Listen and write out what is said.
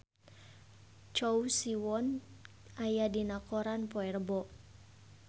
Choi Siwon aya dina koran poe Rebo